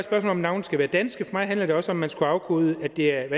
at navne skal være danske for mig handler det også om at man skal afkode hvad det er